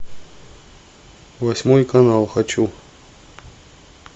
восьмой канал хочу